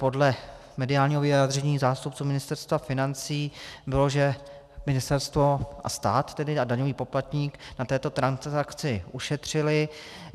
Podle mediálního vyjádření zástupců Ministerstva financí bylo, že ministerstvo a stát tedy a daňový poplatník na této transakci ušetřili.